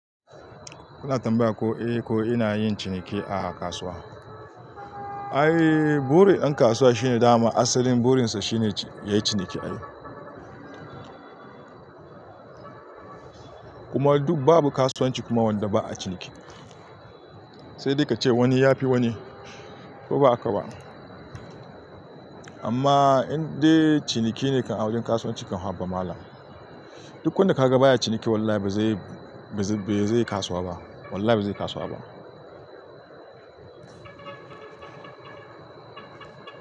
Kuna tambaya ko, eh, ko ina yin ciniki a kasuwa? Ai, buri ɗan kasuwa shine dama asalin burinsa shine yayi ciniki ai. Kuma duk babu kasuwanci kuma wanda ba'a ciniki. Sai dai kace wani yafi wani ko ba haka ba amma indai ciniki ne kan a wajen kasuwanci kan haba malam. Duk wanda ka ga baya ciniki wallahi ba zai, be zai kasuwa ba. Wallahi ba zai kasuwa ba.